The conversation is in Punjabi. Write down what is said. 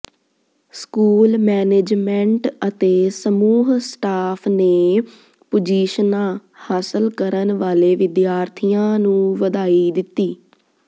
ਸਕੂਲ ਮਨੈਜਮੈੰਟ ਅਤੇ ਸਮੂਹ ਸਟਾਫ਼ ਨੇ ਪੁਜੀਸ਼ਨਾਂ ਹਾਸਲ ਕਰਨ ਵਾਲੇ ਵਿਦਿਆਰਥੀਆਂ ਨੂੰ ਵਧਾਈ ਦਿੱਤੀ